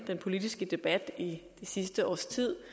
den politiske debat i det sidste års tid